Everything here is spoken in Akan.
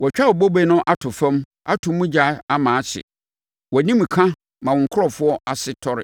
Wɔatwa wo bobe no ato fam, ato mu ogya ama ahye; wʼanimka ma wo nkurɔfoɔ ase tɔre.